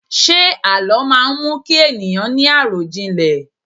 Ṣé àlọ́ má mú kí ènìyàn ni arọjinlẹ?